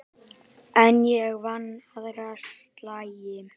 En ég vann aðra slagi.